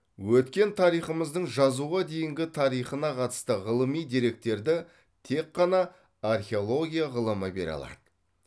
өткен тарихымыздың жазуға дейінгі тарихына қатысты ғылыми деректерді тек қана археология ғылымы бере алады